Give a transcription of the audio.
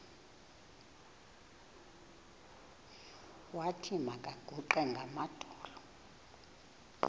wathi makaguqe ngamadolo